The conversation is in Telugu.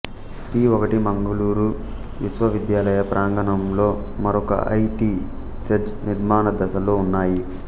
పి ఒకటి మంగుళూరు విశ్వవిద్యాలయ ప్రాంగణంలో మరొక ఐ టి సెజ్ నిర్మాణదశలో ఉన్నాయి